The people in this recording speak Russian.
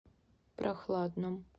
прохладном